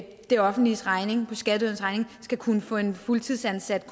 det offentliges regning på skatteydernes regning skal kunne få en fuldtidsansat